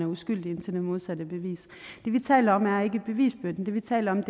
er uskyldig indtil det modsatte er bevist det vi taler om er ikke bevisbyrden det vi taler om